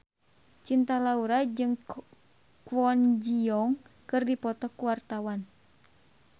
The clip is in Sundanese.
Cinta Laura jeung Kwon Ji Yong keur dipoto ku wartawan